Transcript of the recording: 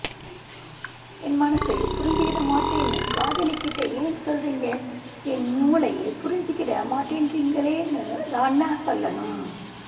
என் மனசை புரிஞ்சுகிட மாட்டேன்னு காதலிகிட்ட ஏன் சொல்றீங்க என் மூளைய புரிஞ்சுகிட மாட்டேன்றீங்களேன்னு தான்ன சொல்லணும்